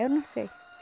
Eu não sei.